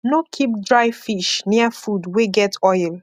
no keep dry fish near food wey get oil